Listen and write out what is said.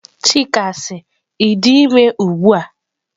Chika si, I di ime ugbua?